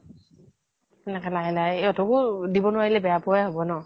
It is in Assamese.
এনেকে লাহে লাহে ইহতকো দিব নোৱাৰিলে বেয়া পোৱাই হব ন